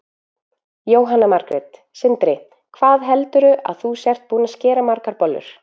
Jóhanna Margrét: Sindri, hvað heldurðu að þú sért búinn að skera margar bollur?